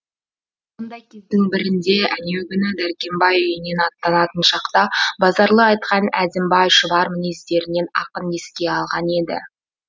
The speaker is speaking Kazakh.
сондай кездің бірінде әнеугүні дәркембай үйінен аттанатын шақта базаралы айтқан әзімбай шұбар мінездерін ақын еске алған еді